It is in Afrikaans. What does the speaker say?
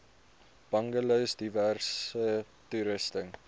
bungalows diverse toerusting